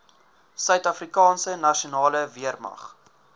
suidafrikaanse nasionale weermag